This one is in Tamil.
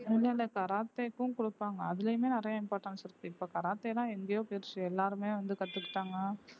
இல்லை இல்லை கராத்தேக்கும் கொடுப்பாங்க அதுலயுமே நிறைய importance இருக்கு இப்ப கராத்தேனா எங்கயோ போயிருச்சு எல்லாருமே வந்து கத்துக்கிட்டாங்க